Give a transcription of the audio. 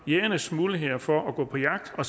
jægernes muligheder for at gå på jagt og